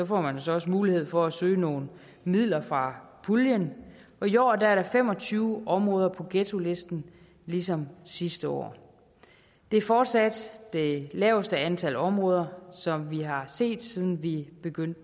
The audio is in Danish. får man så også mulighed for at søge nogle midler fra pulje i år er der fem og tyve områder på ghettolisten ligesom sidste år det er fortsat det laveste antal områder som vi har set siden vi begyndte